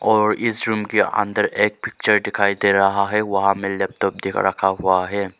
और इस रूम के अंदर एक चेयर दिखाई दे रहा है वहां में लैपटॉप देख रखा हुआ है।